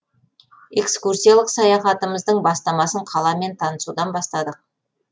экскурсиялық саяхатымыздың бастамасын қаламен танысудан бастадық